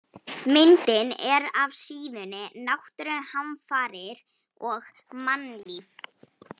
Myndin er af síðunni Náttúruhamfarir og mannlíf.